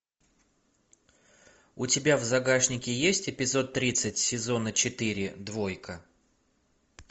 у тебя в загашнике есть эпизод тридцать сезона четыре двойка